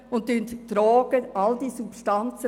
Sie verharmlosen all diese Substanzen.